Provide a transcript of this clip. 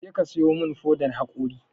Kaje ka sayo mun fodan haƙori